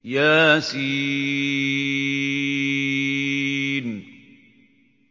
يس